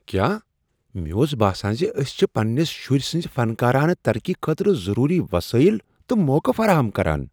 کیا؟ مےٚ اوس باسان ز أسۍ چھ پننس شرۍ سٕنزۍ فنکارانہٕ ترقی خٲطرٕ ضروری وسٲیل تہٕ موقعہٕ فراہم کران۔